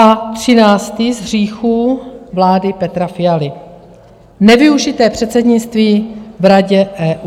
A třináctý z hříchů vlády Petra Fialy - nevyužité předsednictví v Radě EU.